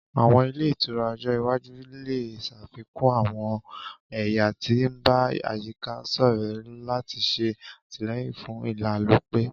Àwọn ile itura ojo iwaju le ṣafikun àwọn ẹya ti n ba àyíká-sọrẹ lati ṣe atilẹyin fún ìlálòpẹ́